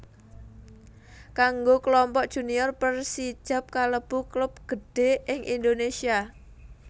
Kanggo Klompok Junior Persijap kalebu klub gedhé ing Indonésia